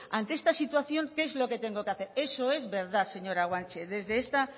ante esta situación qué es lo que tengo que hacer eso es verdad señora guanche